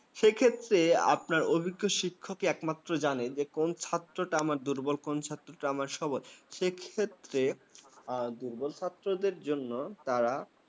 সেই ক্ষেত্রে আপনার অভিজ্ঞ শিক্ষক একমাত্র জানে কোন ছাত্রটা আমার দুর্বল কোন ছাত্রটা আমার সবল সেই ক্ষেত্রে দুর্বল ছাত্রদের জন্য তারা